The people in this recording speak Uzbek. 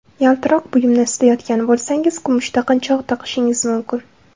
Yaltiroq buyumni istayotgan bo‘lsangiz, kumush taqinchoq taqishingiz mumkin.